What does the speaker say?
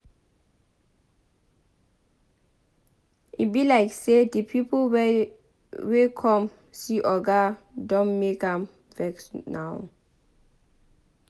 E be like say the people wey come see oga Don make am vex now